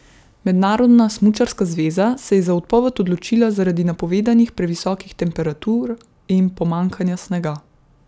Mednarodna smučarska zveza se je za odpoved odločila zaradi napovedanih previsokih temperatur in pomanjkanja snega.